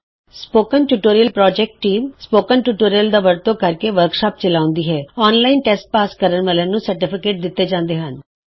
spoken tutorial team spoken tutorial ਦੀ ਵਰਤੋਂ ਨਾਲ ਵਰਕਸ਼ਾਪ ਚਲਾਉਂਦੀ ਹੈ ਔਨਲਾਈਨ ਟੈਸਟ ਪਾਸ ਕਰਨ ਵਾਲਿਆਂ ਨੂੰ ਸਰਟੀਫਿਕੇਟ ਦਿਤਾ ਜਾਂਦਾ ਹੈ